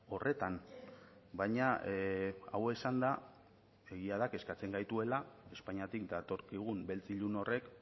horretan baina hau esanda egia da kezkatzen gaituela espainiatik datorkigun beltz ilun horrek